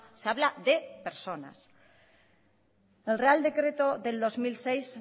se habla de personas el real decreto del dos mil seis